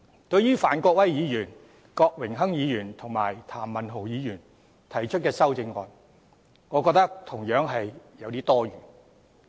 對於范國威議員、郭榮鏗議員及譚文豪議員提出的修正案，我認為同樣有點多此一舉。